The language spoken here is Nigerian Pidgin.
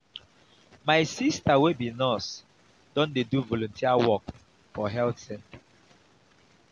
my sista wey be nurse don dey do volunteer work for health center.